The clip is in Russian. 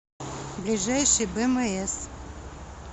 ближайший бмс